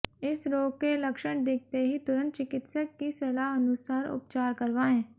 इस रोग के लक्षण दिखते ही तुरंत चिकित्सक की सलाह अनुसार उपचार करवाएं